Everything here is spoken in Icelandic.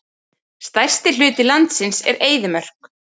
Stærsti hluti landsins er eyðimörk.